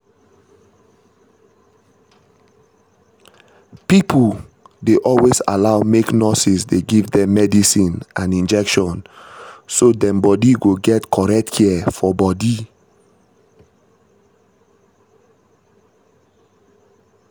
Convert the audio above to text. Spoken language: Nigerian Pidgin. pipo dey always allow make nurses dey give them medicine and injection so dem body go get correct care for body.